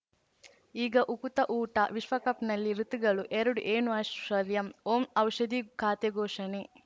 ಈಗ ಉಕುತ ಊಟ ವಿಶ್ವಕಪ್‌ನಲ್ಲಿ ಋತುಗಳು ಎರಡು ಏನು ಐಶ್ವರ್ಯಾಂ ಓಂ ಔಷಧಿ ಖಾತೆ ಘೋಷಣೆ